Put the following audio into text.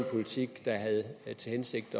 politik der havde til hensigt